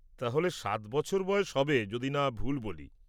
তাহলে, সাত বছর বয়স হবে যদি না ভুল বলি।